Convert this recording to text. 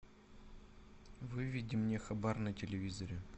выведи мне хабар на телевизоре